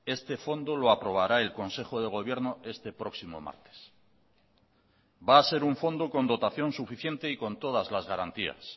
este fondo lo aprobará el consejo de gobierno este próximo martes va a ser un fondo con dotación suficiente y con todas las garantías